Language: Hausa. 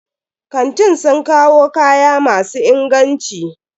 Kantin sun kawo kaya masu inganci.